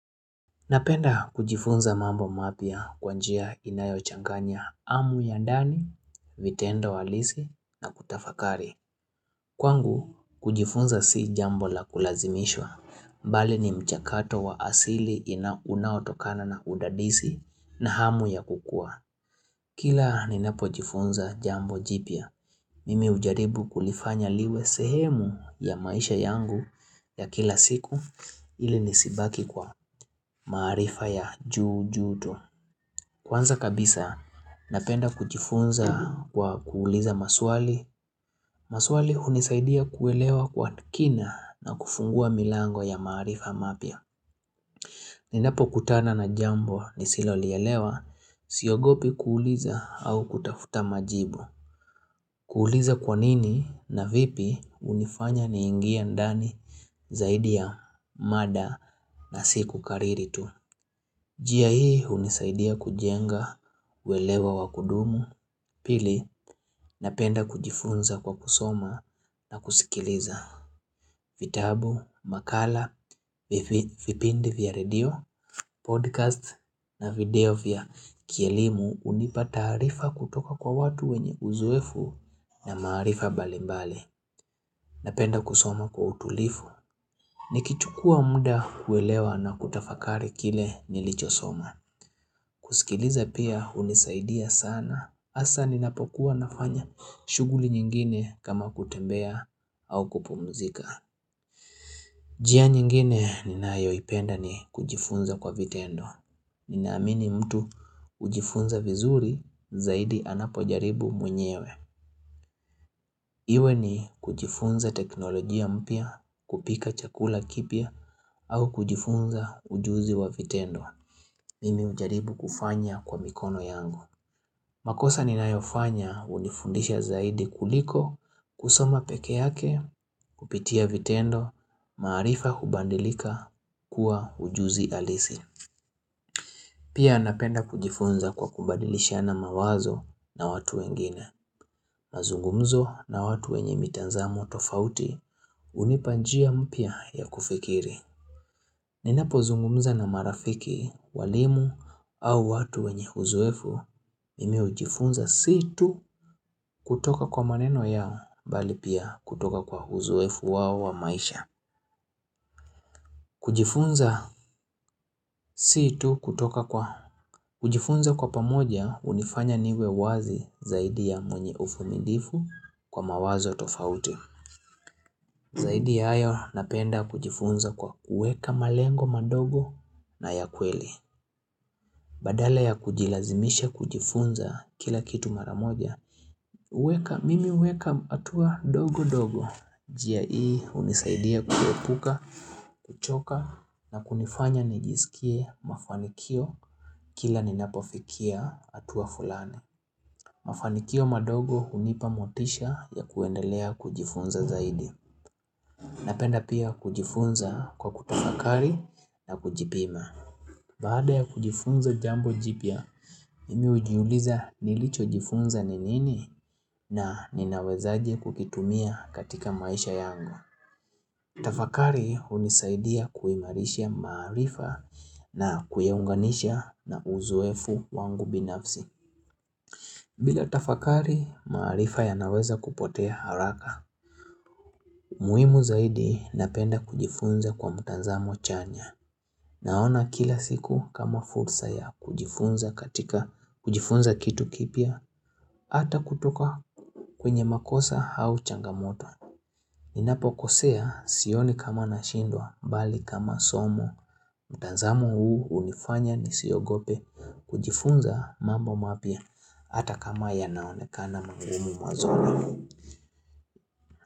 Napenda kujifunza mambo mapya kwa njia inayo changanya hamu ya ndani, vitendo halisi na kutafakari. Kwangu, kujifunza si jambo la kulazimishwa mbali ni mchakato wa asili ina unautokana na undadisi na hamu ya kukua. Kila ninapo jifunza jambo jipya, mimi ujaribu kulifanya liwe sehemu ya maisha yangu ya kila siku, ili nisibaki kwa maarifa ya juu juu tu. Kwanza kabisa, napenda kujifunza kwa kuuliza maswali. Maswali unisaidia kuelewa kwa kina na kufungua milango ya maarifa mapya. Ninapo kutana na jambo nisilo lielewa, siogopi kuuliza au kutafuta majibu. Kuuliza 'kwa nini? ', 'na vipi? ' Unifanya niingie ndani zaidi ya mada na sikukariri tu. Njia hii unisaidia kujenga, uelewo wakudumu, pili napenda kujifunza kwa kusoma na kusikiliza. Vitabu, makala, vi vipindi vya radio, podcast na video vya kielimu unipa taarifa kutoka kwa watu wenye uzoefu na maarifa mbalimbali Napenda kusoma kwa utulivu. Nikichukua muda kuelewa na kutafakari kile nilichosoma. Kuskiliza pia, unisaidia sana. Hasa ninapokuwa nafanya shughuli nyingine kama kutembea au kupumzika. Njia nyingine ninayo ipenda ni kujifunza kwa vitendo. Ninaamini mtu ujifunza vizuri zaidi anapojaribu mwenyewe. Iwe ni kujifunza teknolojia mpya, kupika chakula kipya, au kujifunza ujuzi wa vitendo. Mimi ujaribu kufanya kwa mikono yangu. Makosa ninayofanya, unifundisha zaidi kuliko kusoma peke yake kupitia vitendo, maarifa hubadilika kuwa ujuzi halisi. Pia napenda kujifunza kwa kubadilishiana mawazo na watu wengine. Mazungumzo na watu wenye mitazamo tofauti, unipa njia mpya ya kufikiri. Ninapozungumza na marafiki, walimu au watu wenye uzoefu mimi hujifunza si tu! Kutoka kwa maneno yao, mbali pia kutoka kwa uzoefu wao wa maisha. Kujifunza, si tu! Kutoka kwa kujifunza kwa pamoja unifanya niwe wazi zaidi ya mwenye uvumilivu kwa mawazo tofauti Zaidi ya hayo napenda kujifunza kwa kueka malengo madogo na ya kweli. Badala ya kujilazimisha kujifunza kila kitu maramoja, uweka, mimi uweka hatua ndogo ndogo, njia hii unisaidia kuepuka, kuchoka na kunifanya nijisikie mafanikio kila ninapofikia hatua fulani. Mafanikio madogo unipa motisha ya kuendelea kujifunza zaidi. Napenda pia kujifunza kwa kutafakari na kujipima. Baada ya kujifunza jambo jipya, mimi ujiuliza nilicho jifunza ni nini?, na ninawezaje kukitumia katika maisha yangu. Tafakari unisaidia kuimarishia maarifa na kuiunganisha na uzoefu wangu binafsi. Bila tafakari, maarifa yanaweza kupotea haraka. Muhimu zaidi, napenda kujifunza kwa mtazamo chanya. Naona kila siku kama fursa ya kujifunza katika, kujifunza kitu kipya, ata kutoka kwenye makosa au changamoto. Ninapkosea, sioni kama nashindwa, mbali kama somo. Mtazamo huu unifanya nisiogope, kujifunza mambo mapya, ata kama yanaonekana magumu mwanzoni.